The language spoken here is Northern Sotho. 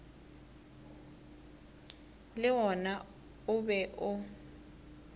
le wona o be o